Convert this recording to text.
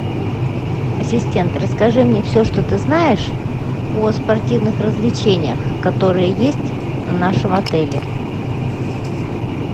ассистент расскажи мне все что ты знаешь о спортивных развлечениях которые есть в нашем отеле